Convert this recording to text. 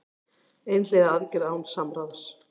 Einhliða aðgerð án alls samráðs